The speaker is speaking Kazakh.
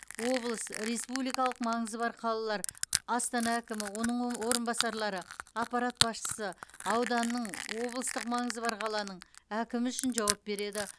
облыс республикалық маңызы бар қалалар астана әкімі оның о орынбасарлары аппарат басшысы ауданның облыстық маңызы бар қаланың әкімі үшін жауап береді